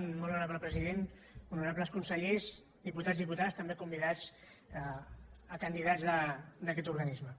molt honorable president honorables consellers diputats diputades també con·vidats a candidats d’aquest organisme